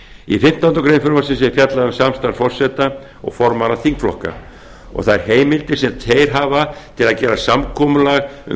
í fimmtándu greinar frumvarpsins er fjallað um samstarf forseta og formanna þingflokka og þær heimildir sem þeir hafa til að gera samkomulag um